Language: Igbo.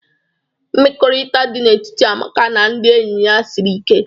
Mmekọrịta dị n'etiti Amaka na ndị enyi ya siri ike.